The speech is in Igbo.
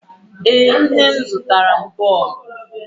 Ee, nne m zụtara m bọọlụ.